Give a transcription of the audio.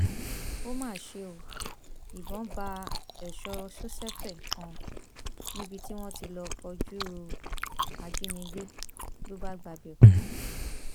ó má ṣe ó ìbọn bá èso sosẹfẹ kan níbi tí wọn ti lọọ kojú ajínigbé ló bá gbabẹ kú